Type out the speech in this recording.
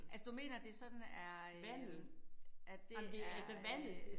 Altså du mener det sådan er øh at det er øh